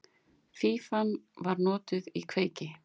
Fífan var notuð í kveiki.